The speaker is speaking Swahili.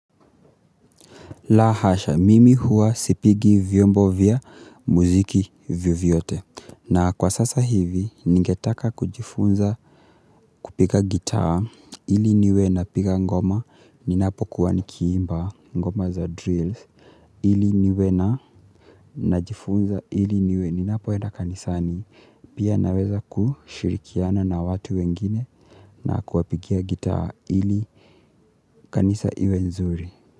Lahasha, mimi hua sipigi vyombo vya muziki vyovyote. Na kwa sasa hivi, ningetaka kujifunza kupiga gitaa ili niwe na piga ngoma ninapo kuwa nikiimba ngoma za drills. Ili niwe na najifunza ili niwe ninapoenda kanisani. Pia naweza kushirikiana na watu wengine na kuwapigia gitaa ili kanisa iwe nzuri.